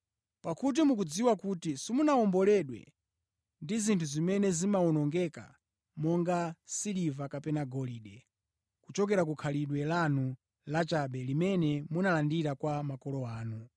Pakuti mukudziwa kuti simunawomboledwe ndi zinthu zimene zimawonongeka monga siliva kapena golide, kuchoka ku khalidwe lanu lachabe limene munalandira kwa makolo anu.